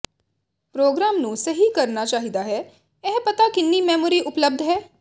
programme ਨੂੰ ਸਹੀ ਕਰਨਾ ਚਾਹੀਦਾ ਹੈ ਇਹ ਪਤਾ ਕਿੰਨੀ ਮੈਮੋਰੀ ਉਪਲੱਬਧ ਹੈ